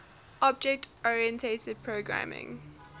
object oriented programming